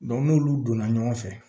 n'olu donna ɲɔgɔn fɛ